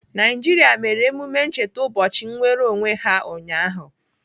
Naijiria mere emume ncheta ụbọchị nnwereonwe ha ụnyaahụ.